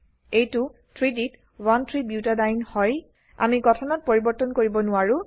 এইটো 3ডি ত 13বুটাডিয়েনে হয় আমি গঠনত পৰিবৰ্তন কৰিব নোৱাৰো